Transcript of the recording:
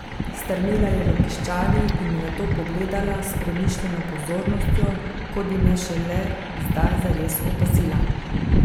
Strmela je v piščali in me nato pogledala s premišljeno pozornostjo, kot bi me šele zdaj zares opazila.